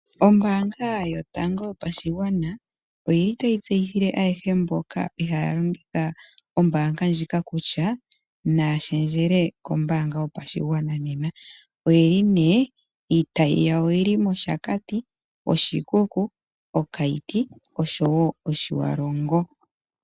Ombaanga yotango yopashigwana oyili tayi tseyithile ayehe mboka ihaaya longitha ombaanga ndjika kutya naya shendjele kombaanga yopashigwana nena. Oyeli nee/iitayi yawo oyili mOshakati, Oshikuku, oKaiti oshowo oTjiwalongo.